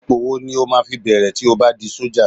Ipò wo ni o máa fi bẹ̀rẹ̀ tí o bá di sọ́jà?